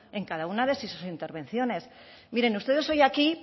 en cada una de sus intervenciones miren ustedes hoy aquí